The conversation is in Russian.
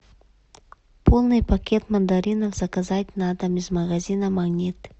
полный пакет мандаринов заказать на дом из магазина магнит